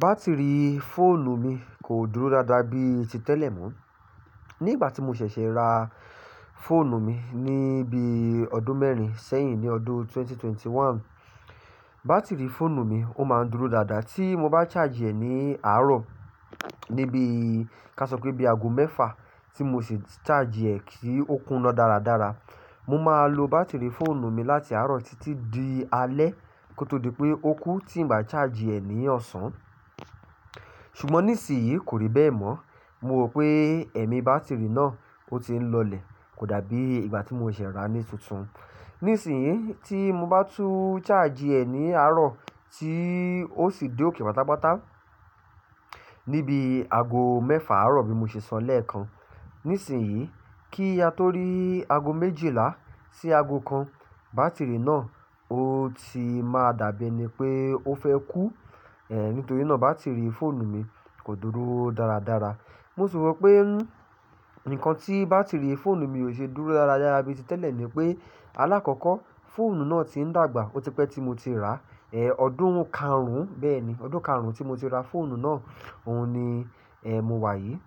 Bátìrì fóònù mi kò dúró dáadáa bí i ti tẹ́lẹ̀ mọ́. Ní ìgbà tí mo ṣẹ̀ṣẹ̀ ra fóònù mi ní bí i ọdún mẹ́rin ṣẹ́yìn ní ọdún 2021. Bátìrì fóònù mi ó máa ń dúró dáadáa tí mo bá charge ẹ̀ ní àárọ̀ ní bí i, ká sọ pé bí i aago mẹ́fà tí mo ṣi charge ẹ̀ kí ó kúna dáradára. Mo máa lo bátìrì fóònù mi láti àárọ̀ titi di alẹ́ kó tó di pé ó kú tí n bà charge ẹ̀ ní ọ̀sán. Ṣùgbọ́n ní isin yíi, kò rí bẹ́ẹ̀ mọ́. Mo ro pé ẹ̀mí bátìrì náà ó ti ń lọlẹ̀ kò dà bíi ìgbà tí mo ṣẹ̀ṣẹ̀ rà á ní tuntun. Ní isìn yíi, tí mo bá tún charge ẹ̀ ní àárọ̀, tí ó sì dé òkè pátápátá ní bí i aago mẹ́fà àárọ̀ bí mo ṣe sọ lẹ́ẹ̀kan. Ní isin yii, kí a tó rí aago méjìlá sí aago kan, bátìrì náà ó ti máa dà bíi ení pé ó fẹ́ kú. È, nítorí náà bátìrì fóònù mi kò dúró dáradára. Mo sì ro pé nń, nǹkan tí bátìrì fóònù mi ò ṣe dúró dáradára bí i ti tẹ́lẹ̀ ni pé, alákọ́kọ́ fóònù náà ti ń dàgbà. Ó ti pẹ́ tí mo ti rà á, è, ọdún karùn-ún bẹ́ẹ̀ ni, ọdún karùn-ún tí mo ti ra fóònù náà, òun ni, è, mo wà yí,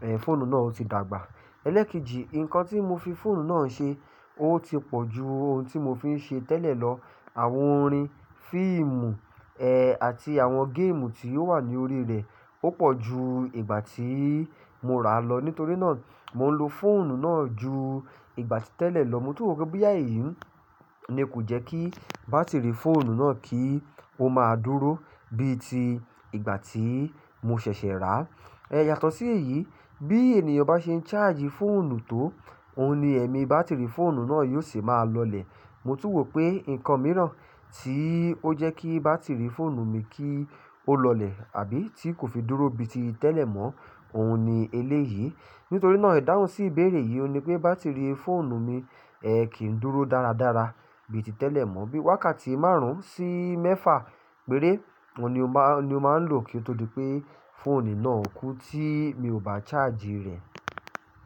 è, fóònù náà ó ti dàgbà. Ẹlẹ́ekejì, nǹkan tí mo fi fóònù náà ṣe ó ti pọ̀ jú ohun tí mo fi ń ṣe tẹ́lẹ̀ lọ. Àwọn orin, fíìmù, è, àti àwọn géèmù tí ó wà ní orí rẹ̀ ó pọ̀ jú ìgbà tí mo rà á lọ. Nítorí náà, mò ń lo fóònù náà jú ìgbà tí tẹ́lẹ̀ lọ. Mo tún rò pé boyà eyí ní kò jẹ́ kí bátìrì fóònù náà kí ó máa dúró bí i ti ìgbà tí mo ṣẹ̀ṣẹ̀ rà á. È, yàtọ̀ sí èyí, bí ènìyàn bá ṣe ń charge fóònù tó, òun ni ẹ̀mí bátìrì fóònù náà yóò se máa lọlẹ̀. Mo tún wò pé nǹkan mìíràn tí ó jẹ́ kí bátìrì fóònù mi kí ó lọlẹ̀ àbí tí kò fi dúró bí i ti tẹ́lẹ̀ mọ́, òun ni eleyii. Nítorí náà, ìdáhùn sí ìbéèrè yìí ni pé bátìrì fóònù mi, è, kì í dúró dáradára bí i ti tẹ́lẹ̀ mọ́. Bí i wákàtí márùn-ún sí mẹ́fà pere, oun ni o má, oun ni o máa ń lò kí ó tó di pé fóònì náà kú tí mi ò bá charge rẹ̀.